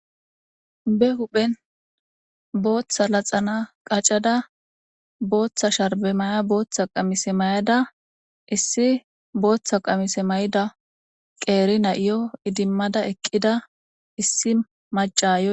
be huphen booththa laxana qacada booththa sharbe maya booththa qamise may7ada issi booththa qamise may7ida qeeri na7iyo idimmada eqqida issi macayo